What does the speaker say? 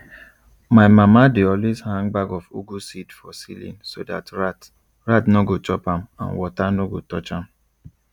my mama dey always hang bag of ugu seed for ceiling so dat rat rat nor go chop am and water nor go touch am